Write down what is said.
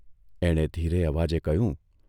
એણે ધીરે અવાજે કહ્યું.